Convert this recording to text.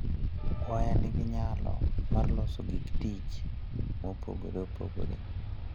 Waya nigi nyalo mar loso gik tich mopogore opogore.